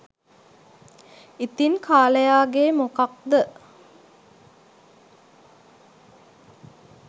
ඉතිං කාලයාගේ මොකද්ද